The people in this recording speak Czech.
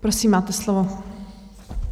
Prosím, máte slovo.